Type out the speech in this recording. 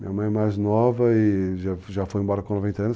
Minha mãe mais nova e já foi embora com 90 anos.